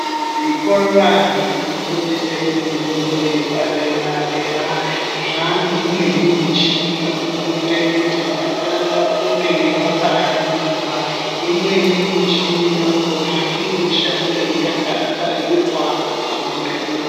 Zvikora zvinofundise mifundo yepadera-dera zvane imweni michini inoite kuti vana vafunde vakaningira. Imweni michini yakona inoshande yakabairwa pamuriro.